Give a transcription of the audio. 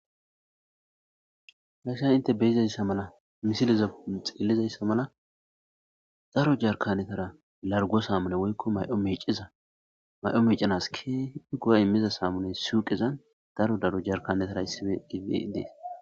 dasha inte beyizayssa mala misiliza xillizayssa mala daro jarkanetara largo saamune woykko may7o meiciza may7o miicanas ke igura immiza saamune suuqezan daro daro jarkanetara issife gie dees